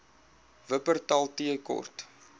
wupperthal tea court